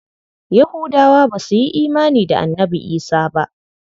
Yahudawa ba su yi imani da Annabi Isah ba.